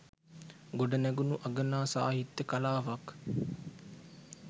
ගොඩ නැගුණු අගනා සාහිත්‍ය කලාවක්